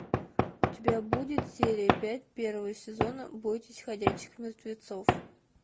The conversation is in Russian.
у тебя будет серия пять первого сезона бойтесь ходячих мертвецов